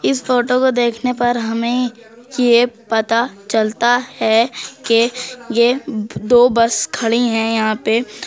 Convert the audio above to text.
इस फोटो को देखने पर हमें ये पता चलता है के यह दो बस खड़ी है यहां पे।